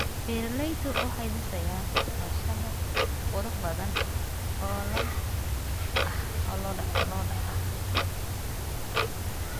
Beeraleydu waxay dhisayaan cooshado qurux badan oo lo'da ah.